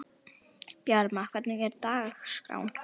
Bjarma, hvernig er dagskráin?